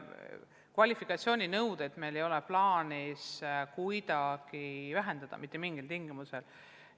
Ei, kvalifikatsiooninõudeid meil ei ole plaanis kuidagi vähendada mitte mingil tingimusel.